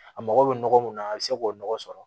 A mago bɛ nɔgɔ mun na a bɛ se k'o nɔgɔ sɔrɔ